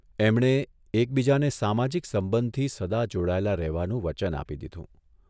એમણે એકબીજાને સામાજિક સંબંધથી સદા જોડાયેલા રહેવાનું વચન આપી દીધું.